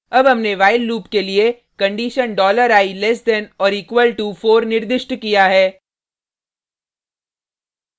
अब हमने while loop के लिए condition $i less than or equal to 4 निर्दिष्ट किया है